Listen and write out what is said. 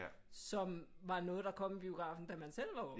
Som var noget der kom i biografen da man selv var ung